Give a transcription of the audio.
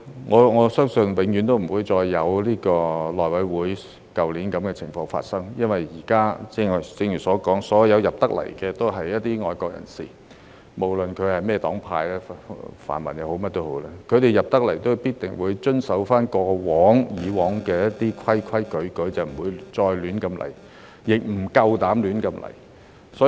我相信永遠不會再發生如去年內務委員會選主席的情況，因為現在——正如我剛才所說——所有進入立法會的皆為愛國人士，不論來自甚麼黨派，泛民也好、甚麼都好，凡是進入立法會的人士，都必定會遵守過去所訂的規矩，不會再亂來，亦不夠膽亂來。